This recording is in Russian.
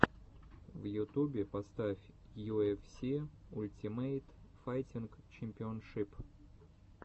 в ютубе поставь ю эф си ультимейт файтинг чемпионшип